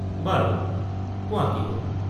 বাৰু, কোৱা কি হ'ল?